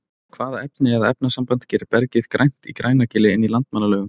Hvaða efni eða efnasamband gerir bergið grænt í Grænagili inn í Landmannalaugum?